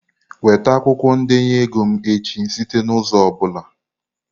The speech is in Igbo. Weta akwụkwọ ndenye ego m echi site n'ụzọ ọ bụla!